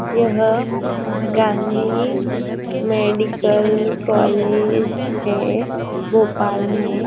यह Gandhi medical college है भोपाल में।